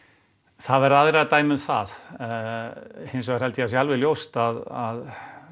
það verða aðrir að dæma um það hins vegar held ég að sé alveg ljóst að